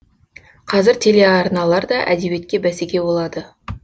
қазір телеарналар да әдебиетке бәсеке болады